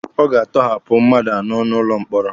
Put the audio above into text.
Ọ ga-atọhapụ mmadụ anọ n'ụlọ mkpọrọ.